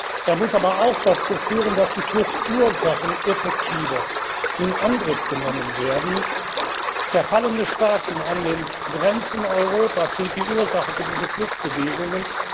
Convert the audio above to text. Sie muss aber auch dazu führen, dass die Fluchtursachen effektiver in Angriff genommen werden. Zerfallene Staaten an den Grenzen Europas sind die Ursache für diese Fluchtbewegungen.